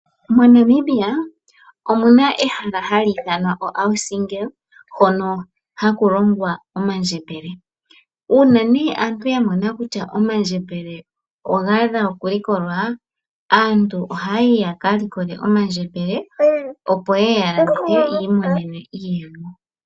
MoNamibia okuna ehala ndyono gali ithanwa auSingle hono haku longwa omandjembele . Uuna aantu yamona kutya omandjembele ogaadha okulikolwa , aantu ohaya yi yaka likole omandjembele opo yeye yakalandithe yiimonenemo iiyemo.